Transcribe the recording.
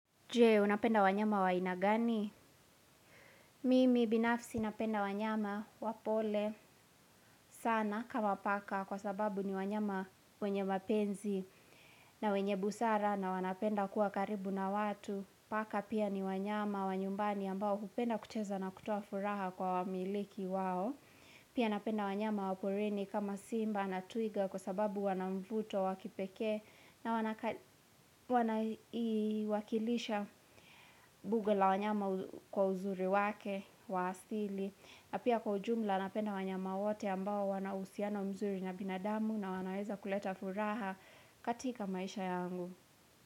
Je, unapenda wanyama wa aina gani? Mimi binafsi napenda wanyama wa pole sana kama paka kwa sababu ni wanyama wenye mapenzi na wenye busara na wanapenda kuwa karibu na watu. Paka pia ni wanyama wa nyumbani ambao hupenda kucheza na kutoa furaha kwa wamiliki wao. Pia napenda wanyama wa porini kama simba na twiga kwa sababu wana mvuto wakipekee na wanaka wana i iwakilisha buga la wanyama kwa uzuri wake wa astili. Na pia kwa ujumla napenda wanyama wote ambao wana husiana mzuri na binadamu na wanaweza kuleta furaha katika maisha yangu.